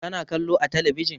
Ka na kallo a talabijin?